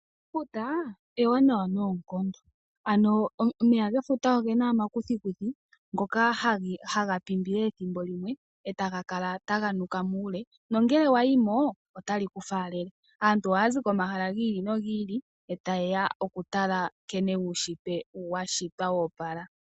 Efuta ewanawa noonkondo, ano omeya gefuta ogena omakuthikuthi ngoka haga pimbile ethimbo limwe, e taga kala taga nuka muule, nongele wa yimo otali ku faalele. Aantu ohaya zi komahala gi ili nogi ili e taye ya oku tala nkene uunshitwe wa shitwa wo opala.